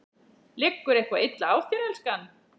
Liggur eitthvað illa á þér, elskan?